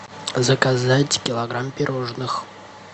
заказать килограмм пирожных